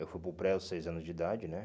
Eu fui para o pré aos seis anos de idade, né?